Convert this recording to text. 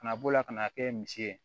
Ka na bɔ la ka n'a kɛ misi ye